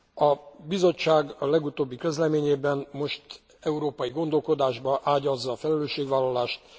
A Bizottság a legutóbbi közleményében most európai gondolkodásba ágyazza a felelősségvállalást.